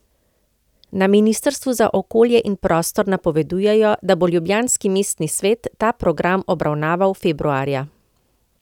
Na ministrstvu za okolje in prostor napovedujejo, da bo ljubljanski mestni svet ta program obravnaval februarja.